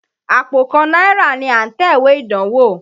Àpò kan náírà ni à ń tẹ̀wé ìdánwó.